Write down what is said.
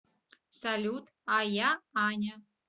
салют а я аня